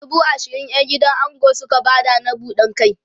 dubu ashirin ƴan gidan ango Suka Bada na buɗan kai